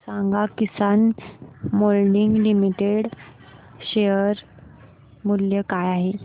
सांगा Kisan moulding limited चे share मूल्य काय आहे